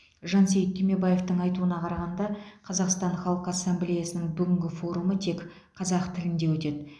жансейіт түймебаевтың айтуына қарағанда қазақстан халқы ассамблеясының бүгінгі форумы тек қазақ тілінде өтеді